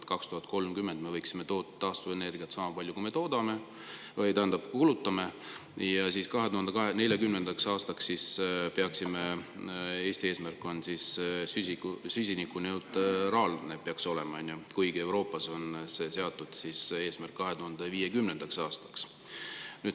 No näiteks, et 2030 me võiksime toota taastuvenergiat sama palju, kui me kulutame, ja 2040. aastaks peaks Eesti olema süsinikuneutraalne, sest see on meie eesmärk – kuigi Euroopas on seatud see eesmärk 2050. aastaks.